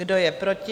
Kdo je proti?